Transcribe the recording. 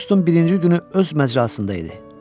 Avqustun birinci günü öz məcrasında idi.